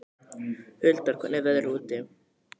Huldar, hvernig er veðrið úti?